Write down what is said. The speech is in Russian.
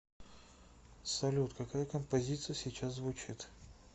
салют какая композиция сейчас звучит